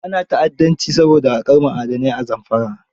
Ana ta'addanci saboda haƙar ma'adanai a Zamfara.